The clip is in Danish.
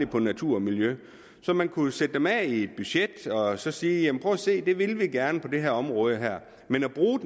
på natur og miljø så man kunne jo sætte dem af i et budget og så sige prøv at se det vil vi gerne på det her område men at bruge